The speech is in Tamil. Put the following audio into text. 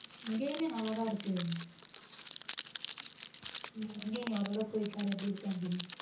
இங்கயுமே நல்லாதான் இருக்கு இங்கே நீ ஒரு தடவை போய் பாரு எப்படி இருக்குன்னு